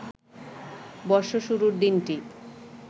বর্ষ শুরুর দিনটি